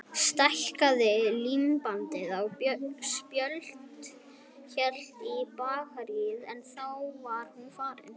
Stækkaði, límdi á spjöld, hélt í bakaríið en þá var hún farin.